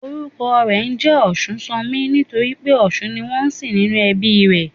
Orúkọ rè njé Òsúnsanmí nítorí pé òsun ni wón nsìn nínú ẹbí i rè